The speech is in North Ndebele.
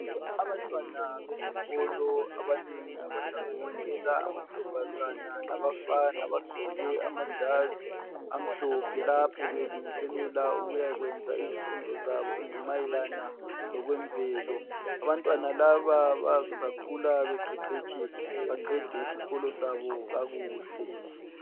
Abantwana besikolo abanengi abahlanganisela amantombazana labafana bagqoke amajazi amhlophe .Lapho belungiselela ukuya kwenza izifundo zabo ezimayelana lokwe mvelo .Abantwana laba bazakhula beqeqetshe baqede isikolo sabo kakuhle.